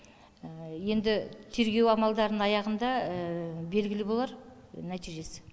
енді тергеу амалдарының аяғында белгілі болар нәтижесі